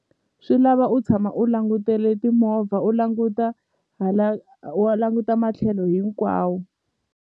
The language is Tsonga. Swi lava u tshama u langutele timovha u languta hala wa languta matlhelo hinkwawo.